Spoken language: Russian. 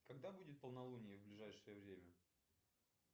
когда будет полнолуние в ближайшее время